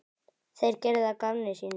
Þeir gerðu að gamni sínu.